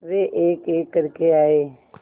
वे एकएक करके आए